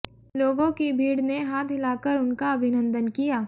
लोगों की भीड़ ने हाथ हिलाकर उनका अभिनंदन किया